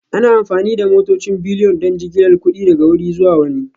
Ana amfani da motocin Bullion don jigilar kuɗi daga wuri zuwa wani